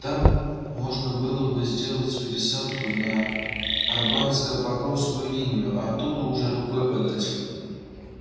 там можно было бы сделать пересадку на арбатско-покровскую линию а оттуда уже рукой подать